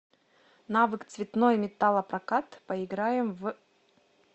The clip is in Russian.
навык цветной металлопрокат поиграем в